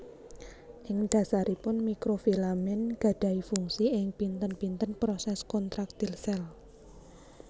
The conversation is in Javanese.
Ing dasaripun Mikrofilamen gadahi fungsi ing pinten pinten proses kontraktil sel